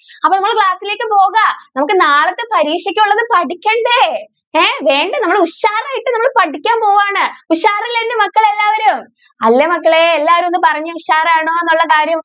അപ്പോ നമ്മൾ class ലേക്ക് പോകാം? നമ്മൾക്ക് നാളത്തെ പരീക്ഷയ്ക്ക് ഉള്ളത് പഠിക്കണ്ടേ? എഹ് വേണ്ടേ നമ്മള് ഉഷാറായിട്ട് നമ്മള് പഠിക്കാൻ പോവാണ്. ഉഷാറല്ലെ എന്റെ മക്കൾ എല്ലാവരും? അല്ലേ മക്കളെ? എല്ലാവരും ഒന്ന് പറഞ്ഞേ. ഉഷാറാണോ എന്നുള്ള കാര്യം?